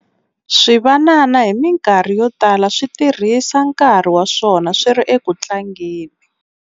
Swivanana hi mikarhi yo tala swi tirhisa nkarhi wa swona swi ri eku tlangeni.